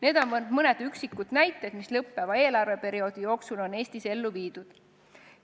Need on vaid mõned üksikud näited selle kohta, mida lõppeva eelarveperioodi jooksul on Eestis ellu viidud.